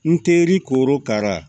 N teri korokara